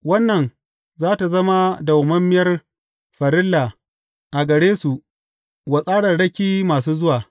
Wannan za tă zama dawwammamiyar farilla a gare su wa tsararraki masu zuwa.’